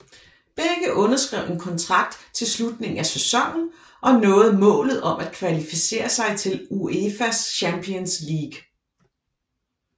Begge underskrev en kontrakt til slutningen af sæsonen og nåede målet om at kvalificere sig til UEFA Champions League